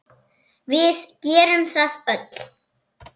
Við gerum það öll.